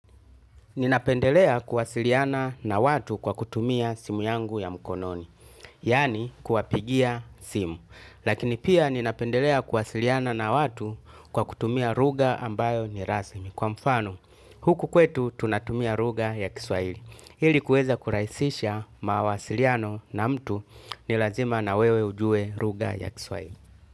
Ninapendelea kuwasiliana na watu kwa kutumia simu yangu ya mkononi, yaani kuwapigia simu. Lakini pia ninapendelea kuwasiliana na watu kwa kutumia luga ambayo nirasmi. Kwa mfano, huku kwetu tunatumia luga ya kiswahili. Hili kuweza kuraisisha mawasiliano na mtu ni lazima na wewe ujue lugha ya kiswahili.